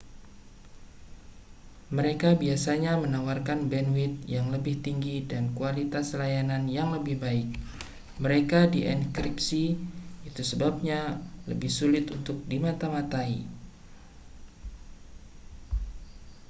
mereka biasanya menawarkan bandwidth yang lebih tinggi dan kualitas layanan yang lebih baik mereka dienkripsi itu sebabnya lebih sulit untuk dimata-matai